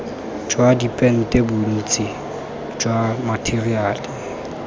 jwa dipente bontsi jwa matheriale